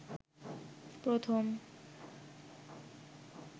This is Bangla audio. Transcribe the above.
প্রথম